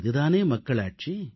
இது தானே மக்களாட்சி